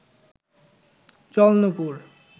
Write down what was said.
জল নূপুর